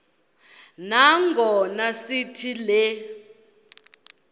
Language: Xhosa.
nangona sithi le